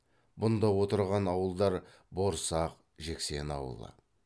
бұнда отырған ауылдар борсақ жексен ауылы